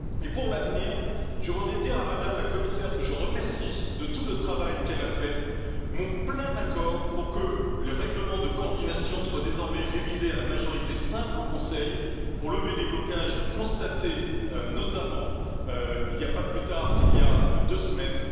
Pour l'avenir, je voudrais donner à Mme la Commissaire que je remercie de tout le travail qu'elle a fait mon plein accord pour que le règlement de coordination soit désormais révisé à la majorité simple au Conseil, afin de lever les blocages constatés, notamment pas plus tard qu'il y a deux semaines.